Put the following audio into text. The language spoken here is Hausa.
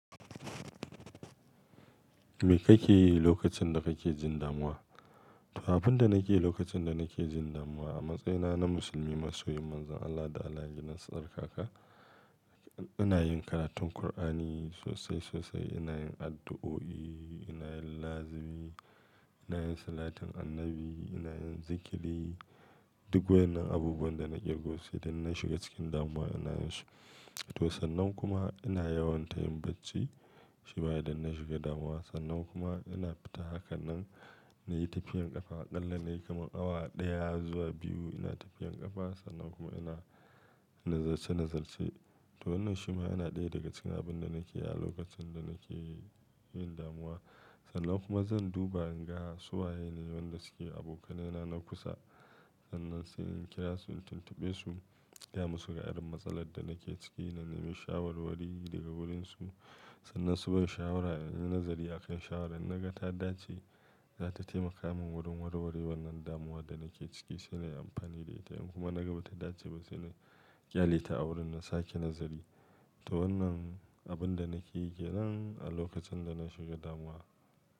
Me kake yi lokacin da kake jin damuwa? To abin da nake yi lokacin da nake jin damuwa a matsayina na musulmi masoyi manzon Allah da allah yayi nasan haka. Ina yin karatun qur'ani sosai sosai, ina yin addu'o'i, ina yin lazimi, ina yin salatin annabi, ina yin zikiri. Duk waɗannan abubuwan da nake yi idan na shiga cikin damuwa ina yin shi. To sannan kuma ina yawanta yin bacci shima idan na shiga damuwa. Sannan kuma ina fita hakan nan na yi tafiyan ƙafadan lallai kamar awa ɗaya zuwa biyu ina tafiyan ƙafa. Sannan kuma ina nazarcce nazarcce. To wannan shima yana ɗaya daga cikin abin da nake yi a lokacin da nake yin damuwa. Sannan kuma zan duba inga su waye ne waɗanda suke abokanai na na kusa. Sannan sai in kira su in tuntuɓe su gaya musu ga irin matsalar da nake ciki na nemi shawarwari daga wurinsu. Sannan su ban shawara in yi nazari a kan shawaran. Naga ta dace zata taimaka min wurin warware wannan damuwar da nake ciki sai na yi amfani da ita. In kuma naga ba ta dace ba sai na kyale ta a wurin na sake nazari. To wannan abin da nake yi kenan a lokacin da na shiga damuwa.